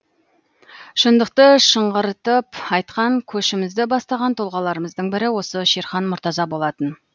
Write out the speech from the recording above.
шындықты шыңғыртып айтқан көшімізді бастаған тұлғаларымыздың бірі осы шерхан мұртаза болатын